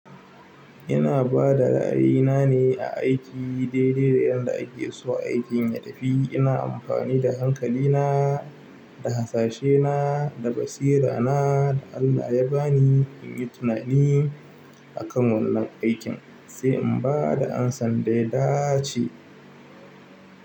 Ina bada ra'ayina ne a aiki daidai da yadda ake so aikin ya tafi. Ina amfani da hankalina, da hasashe na, da basira na da Allah ya bani in yi tunani akan wannan aikin sai in bada amsa dai dace.